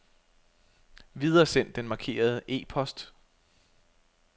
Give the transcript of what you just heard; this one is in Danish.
Videresend den markerede e-post.